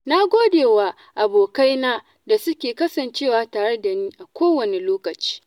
Na gode wa abokaina da suke kasancewa tare da ni a kowane lokaci.